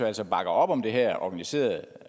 altså bakker op om det her organiserede